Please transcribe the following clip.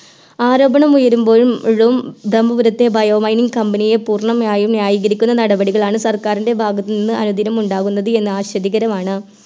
ആരോപണമുയരുമ്പോഴും ഴും ബ്രമ്മപുറത്തെ Bio mining company യെ പൂർണ്ണമായും ന്യായികരിക്കുന്ന നടപടികളാണ് സർക്കാരിൻറെ ഭാഗത്തുനിന്ന് അനുദിനം ഉണ്ടാവുന്നത് എന്നത് ആഛാദ്യകരമാണ്